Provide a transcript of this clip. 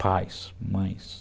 Pais, mães...